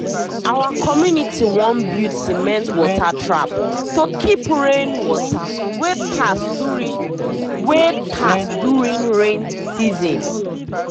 our community wan build cement water trap to keep rain water wey pass during wey pass during rainy season.